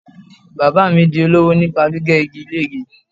Bàbáà mi di olówò nípa gbígbẹ́ igi lére.